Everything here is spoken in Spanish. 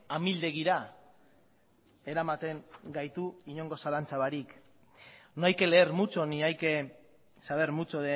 amildegira eramaten gaitu inongo zalantza barik no hay que leer mucho ni hay que saber mucho